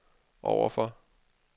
overfor